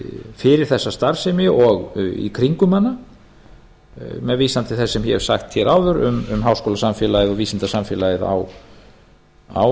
fyrir þessa starfsemi og í kringum hana með vísan til þess sem ég hef sagt hér áður um háskólasamfélagið og vísindasamfélagið á